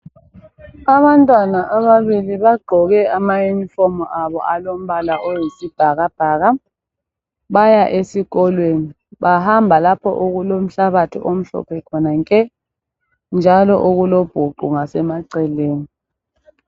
Abantwana ababili bagqoke amayunifomu abo alombala oyisibhakabhaka baya esikolweni. Bahamba lapho okulo mhlabathi omhlophe khona nke, njalo okulobhuqu emaceleni.